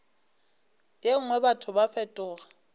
ye nngwe batho ba fetoga